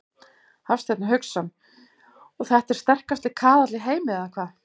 Hafsteinn Hauksson: Og þetta er sterkasti kaðall í heimi eða hvað?